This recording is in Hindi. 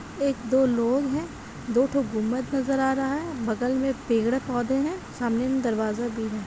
एक दो लोग हैं दो ठो गुम्बद नजर आ रहा है बगल में पेड़-पौधे हैं सामने में दरवाजा भी है।